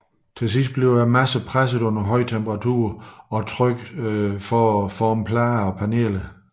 Senere presses massen under høj temperatur og tryk for at forme plader og paneler